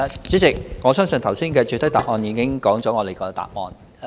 主席，我相信剛才的主體答覆已說出我們的答案。